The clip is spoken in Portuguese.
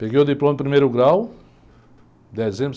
Peguei o diploma de primeiro grau, dezembro.